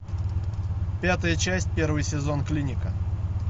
пятая часть первый сезон клиника